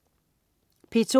P2: